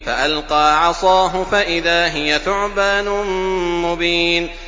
فَأَلْقَىٰ عَصَاهُ فَإِذَا هِيَ ثُعْبَانٌ مُّبِينٌ